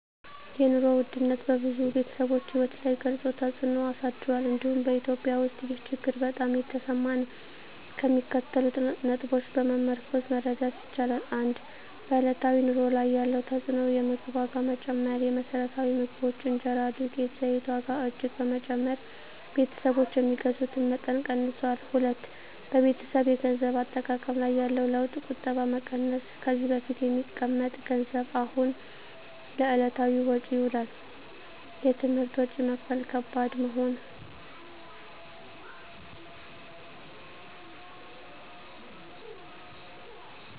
የኑሮ ውድነት በብዙ ቤተሰቦች ሕይወት ላይ ግልፅ ተፅዕኖ አሳድሯል፤ እንዲሁም በEthiopia ውስጥ ይህ ችግር በጣም የተሰማ ነው። ከሚከተሉት ነጥቦች በመመርኮዝ መረዳት ይቻላል፦ 1. በዕለታዊ ኑሮ ላይ ያለው ተፅዕኖ የምግብ ዋጋ መጨመር: የመሰረታዊ ምግቦች (እንጀራ፣ ዱቄት፣ ዘይት) ዋጋ እጅግ በመጨመር ቤተሰቦች የሚገዙትን መጠን ቀንሰዋል። 2. በቤተሰብ የገንዘብ አጠቃቀም ላይ ያለው ለውጥ ቁጠባ መቀነስ: ከዚህ በፊት የሚቀመጥ ገንዘብ አሁን ለዕለታዊ ወጪ ይውላል። የትምህርት ወጪ መክፈል ከባድ መሆን